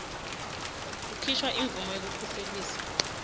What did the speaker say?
kukhishwa imvumo yekukhuseliswa